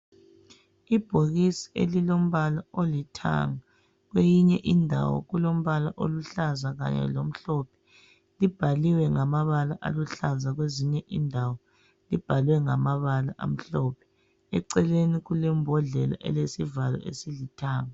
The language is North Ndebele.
Ibhokisi elilombala olithanga. Kweyinye indawo kulombala oluhlaza kanye lomhlophe. Libhaliwe ngamabala aluhlalaza kwezinye indawo libhalwe ngamabala amhlophe. Eceleni kulembodlela elesivalo esilithanga.